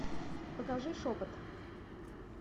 покажи шепот